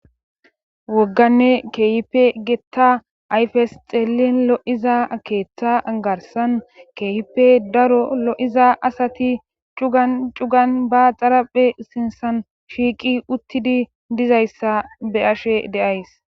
wogganne keehipe getta ayfes xeellin lo7iza keeththa garsan keeyipe daro lo7iza asati cugan cugan ba xaraphe sinsan shiiqi uttidi dizayssa be'ashe de'ays